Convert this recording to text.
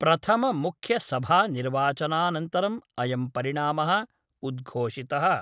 प्रथममुख्यसभानिर्वाचनानन्तरम् अयं परिणामः उद्घोषितः।